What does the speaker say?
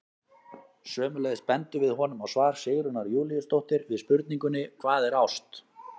Sömuleiðis bendum við honum á svar Sigrúnar Júlíusdóttur við spurningunni Hvað er ást?